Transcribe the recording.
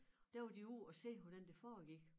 Der var de ude at se hvordan det foregik